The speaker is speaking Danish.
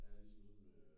Ja ligesom sådan en øh